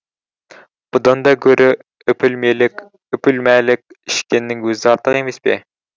бұдан да гөрі үпілмәлік ішкеннің өзі артық емес пе